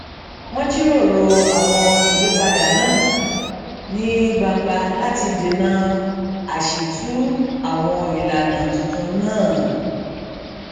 wón jíròrò àwọn ìyípadà náà ní gbangba láti dènà àṣìtú àwọn ìlànà tuntun náà